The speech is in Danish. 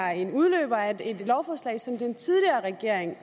er en udløber af et lovforslag som den tidligere regering